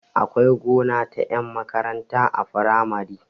Akwai gona ta ƴan makaranta a firamare